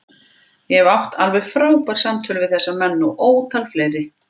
Ég hef átt alveg frábær samtöl við þessa menn og ótal fleiri.